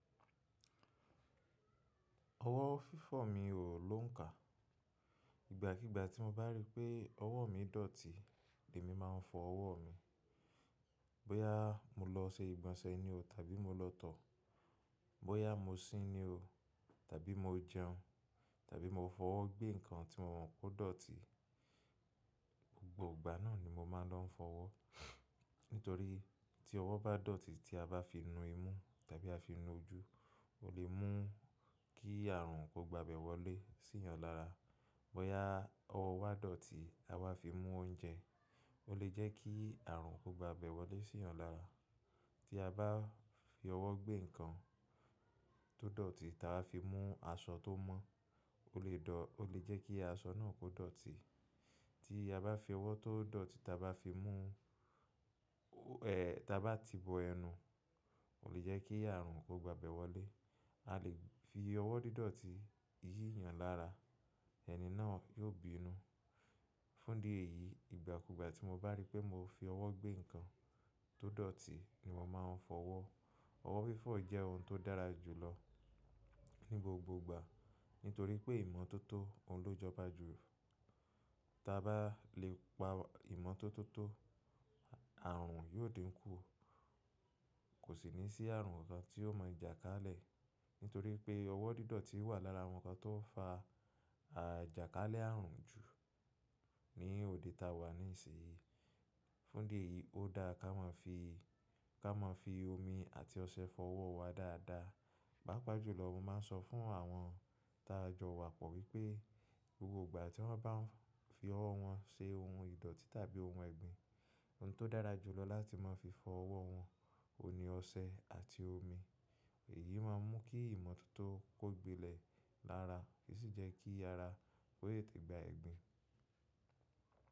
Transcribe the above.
Ọwọ́ fífọ̀ mi ò ló ń kà. Ìgbà kigbà tí mo bá rí pé ọwọ́ mi dọ̀tí, èmi máa ń fọ ọwọ́ mi. Bóyá mo lọ ṣe ìgbọ̀nsẹ̀ ni o tàbí mo lọ tọ̀, bóyá mo sín ni o tàbí mo jẹun tàbí mo fọwọ́ gbé nǹkan tí mo mọ̀ pe oó dọ̀tí, gbogbo ìgbà náà ni mo máa ń lọ fọ ọwọ́. Nítorí tí ọwọ́ bá dọ̀tí tí a bá fi nu imú tàbí a fi nu ojú o le mú kí àrùn kó gba bẹ̀ wọlé sí eeyàn lára. Bóyá ọwọ́ wa dọ̀tí à wa fi mú oúnjẹ o le jẹ́ kí àrùn kó gba bẹ̀ wọlé sí eeyàn lára. Tí a bá fi ọwọ́ gbé nǹkan tó dọ̀tí, tí a bá fi mú aṣọ tó mọ́ o le jẹ́ kí aṣọ náà kó dọ̀tí. Tí a bá fi ọwọ́ tó dọ̀tí tí a bá ti bọ ẹnu o le jẹ́ kí àrùn kó gba bẹ̀ wọlé. A lè fi ọwọ́ dídọ̀tí yí eeyàn lára, ẹni náà yóò bínú. Fún dí èyí, ìgbà kugbà tí mo bá rí pé mò fi ọwọ́ gbé nǹkan tó dọ̀tí ni mo máa ń fọ ọwọ́. Ọwọ́ fífọ̀ jẹ́ ohun tó dára jù lọ ní gbogbo ìgbà nítorí pé ìmọ́tótó òun ló jọba jù. Tí a bá lè pa ìmọ́tótó àrùn yóò diń kú. Kò sí ní sí àrùn kan tí ó mọ̀ jàkálẹ̀ nítorí pé ọwọ́ dídọ̀tí wà lára àwọn nǹkan tó ń fa jàkálẹ̀ àrùn jù ní òde táa wà níìsí yìí. Fún dí èyí ó dáa ká ma fi omi àti ọṣẹ fọ ọwọ́ wa dáadáa. Pàápàá jùlọ mo máa ń sọ fún àwọn ta jọ wa pọ̀ wípé gbogbo ìgbà tí wọ́n bá ń fi ọwọ́ wọn ṣe ohun ìdọ̀tí tàbí ohun ẹ̀gbin ohun tó dára jù lọ láti máa fi fọ ọwọ́ wọn òun ni ọṣẹ àti omi. Èyí máa ń mú kí ìmọ́tótó kó gbilẹ̀ lára, sì jẹ́ kí ara ó tetẹ̀ gba ẹ̀gbin.